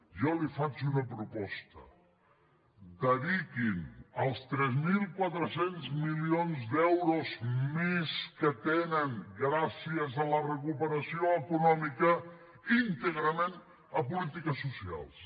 jo li faig una proposta dediquin els tres mil quatre cents milions d’euros més que tenen gràcies a la recuperació econòmica íntegrament a polítiques socials